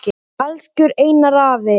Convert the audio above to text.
Elsku Einar afi.